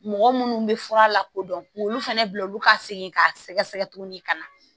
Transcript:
Mɔgɔ munnu bɛ fura la kodɔn k'olu fana bila olu ka segin k'a sɛgɛsɛgɛ tuguni ka na